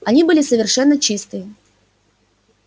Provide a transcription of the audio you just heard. они были совершенно чистые